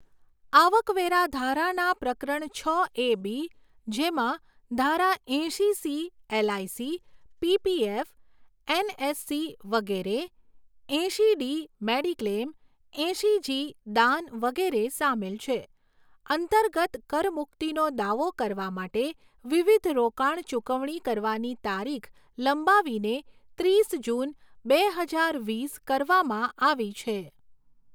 આવકવેરા ધારાના પ્રકરણ છ એ બી, જેમાં ધારા એંશી સી એલઆઈસી, પીપીએફ, એનએસસી વગેરે, એંશી ડી મેડિક્લેમ, એંશી જી દાન વગેરે સામેલ છે, અંતર્ગત કરમુક્તિનો દાવો કરવા માટે વિવિધ રોકાણ ચૂકવણી કરવાની તારીખ લંબાવીને ત્રીસ જૂન, બે હજાર વીસ કરવામાં આવી છે.